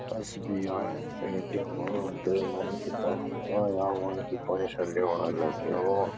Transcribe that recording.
SBI. ATM. द्वि मनखी तख हा या मनखी पैसा लूणा लग्युं।